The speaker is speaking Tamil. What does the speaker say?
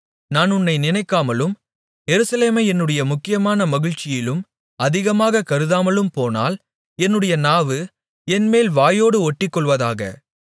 நான் உன்னை நினைக்காமலும் எருசலேமை என்னுடைய முக்கியமான மகிழ்ச்சியிலும் அதிகமாகக் கருதாமலும்போனால் என்னுடைய நாவு என் மேல் வாயோடு ஒட்டிக்கொள்வதாக